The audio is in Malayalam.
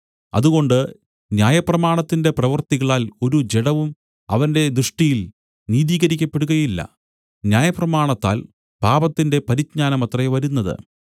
അതുകൊണ്ട് ന്യായപ്രമാണത്തിന്റെ പ്രവൃത്തികളാൽ ഒരു ജഡവും അവന്റെ ദൃഷ്ടിയിൽ നീതീകരിക്കപ്പെടുകയില്ല ന്യായപ്രമാണത്താൽ പാപത്തിന്റെ പരിജ്ഞാനമത്രെ വരുന്നത്